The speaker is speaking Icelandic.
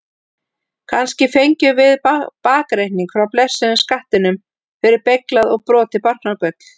Kannski fengjum við bakreikning frá blessuðum skattinum fyrir beyglað og brotið barnagull?